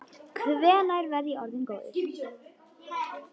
Hvenær verð ég orðinn góður?